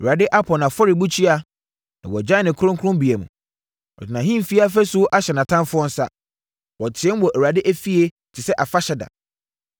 Awurade apo nʼafɔrebukyia na wagyae ne kronkronbea mu. Ɔde nʼahemfie afasuo ahyɛ nʼatamfoɔ nsa. Wɔteam wɔ Awurade efie te sɛ afahyɛ da.